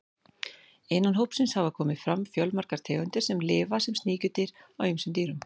Innan hópsins hafa komið fram fjölmargar tegundir sem lifa sem sníkjudýr á ýmsum dýrum.